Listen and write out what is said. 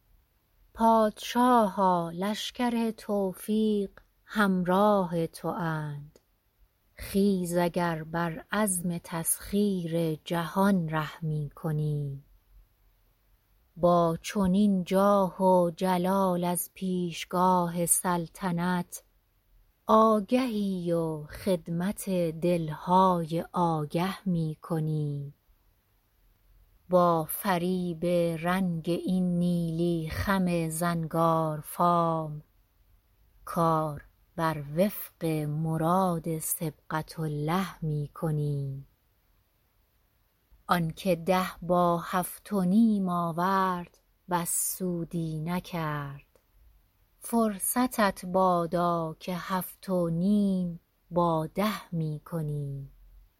پادشاها لشکر توفیق همراه تواند خیز اگر بر عزم تسخیر جهان ره می کنی با چنین جاه و جلال از پیشگاه سلطنت آگهی و خدمت دل های آگه می کنی با فریب رنگ این نیلی خم زنگارفام کار بر وفق مراد صبغة الله می کنی آن که ده با هفت و نیم آورد بس سودی نکرد فرصتت بادا که هفت و نیم با ده می کنی